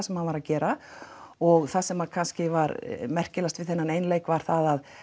sem hann var að gera og það sem kannski var merkilegast við þennan einleik var það